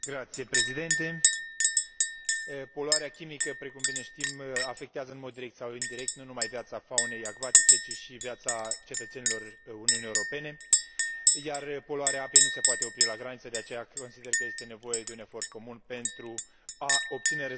Poluarea chimică, precum bine știm, afectează în mod direct sau indirect nu numai viața faunei acvatice, ci și viața cetățenilor Uniunii Europene, iar poluarea apei nu se poate opri la graniță, de aceea consider că este nevoie de un efort comun pentru a obține rezultate pozitive în combaterea poluării.